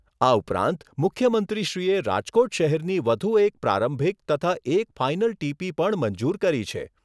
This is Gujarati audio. આ ઉપરાંત મુખ્યમંત્રીશ્રીએ રાજકોટ શહેરની વધુ એક પ્રારંભિક તથા એક ફાઈનલ ટીપી પણ મંજૂર કરી છે.